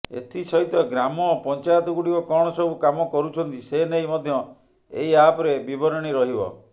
ଏଥିସହିତ ଗ୍ରାମ ପଞ୍ଚାୟତଗୁଡ଼ିକ କଣ ସବୁ କାମ କରୁଛନ୍ତି ସେନେଇ ମଧ୍ୟ ଏହି ଆପରେ ବିବରଣୀ ରହିବ